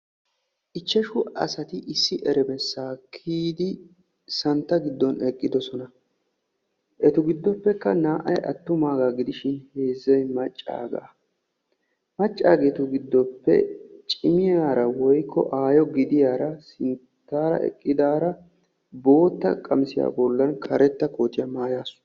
Ichchashsu asati issi emerssa kiyyidi santta giddon eqqidoosona. eta giddoppekka naa''ay attumaaga gidishin naa''ay maccaaga. maccageetu giddoppe cimmiyaara woykko aayyo gidiyaara sinttaara eqqidaara bootta qamissiya bollan karetta koottiya maayyasu.